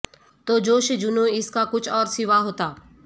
تو جوش جنوں اس کا کچھ اور سوا ہوتا